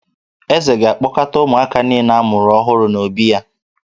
Eze ga-akpọkọta ụmụaka niile a mụrụ ọhụrụ n’obí ya